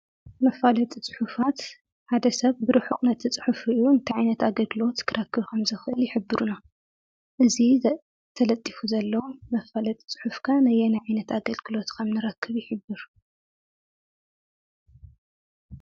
መፋለጢ ፅሑፋት ሓደ ሰብ ብርሑቕ ነቲ ፅሑፍ ሪኡ እንታይ ዓይነት ኣገልግሎት ክረክብ ከምዝኽእል ይሕብሩሉ፡፡ እዚ ተለጢፉ ዘሎ መፋለጢ ፅሑፍ ከዓ ነየናይ ዓይነት ኣገልግሎት ከምንረክብ ይሕብር?